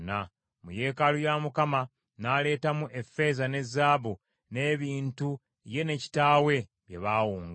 Mu yeekaalu ya Mukama n’aleetamu effeeza ne zaabu, n’ebintu ye ne kitaawe bye baawonga.